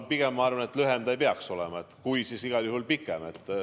Ma pigem arvan, et lühem see ei peaks olema, kui, siis igal juhul pikem.